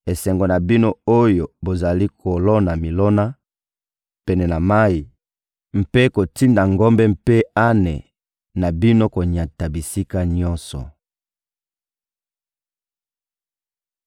Esengo na bino oyo bozali kolona milona pene na mayi mpe kotinda ngombe mpe ane na bino konyata bisika nyonso.